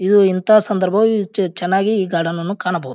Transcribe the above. ಇದು ಇಂತಹ ಸಂದರ್ಭ ವು ಚೆನ್ನಾಗಿ ಈ ಗಾರ್ಡನ್ ನ್ನು ಕಾಣಬಹುದು.